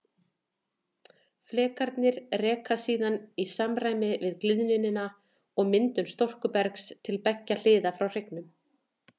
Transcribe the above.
Flekarnir reka síðan í samræmi við gliðnunina og myndun storkubergs til beggja hliða frá hryggjunum.